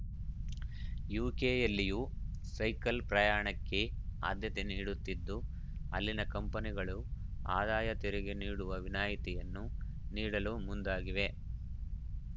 ಯುಕೆಯಲ್ಲಿಯು cycle ಪ್ರಯಾಣಕ್ಕೆ ಆಧ್ಯತೆ ನೀಡುತ್ತಿದ್ದು ಅಲ್ಲಿನ ಕಂಪನಿಗಳು ಆದಾಯ ತೆರಿಗೆ ನೀ‌ಡುವ ವಿನಾಯಿತಿಯನ್ನು ನೀಡಲು ಮುಂದಾಗಿವೆ